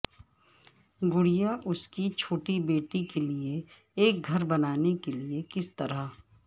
گڑیا اس کی چھوٹی بیٹی کے لئے ایک گھر بنانے کے لئے کس طرح